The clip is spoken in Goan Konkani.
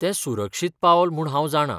तें सुरक्षीत पावल म्हूण हांव जाणा.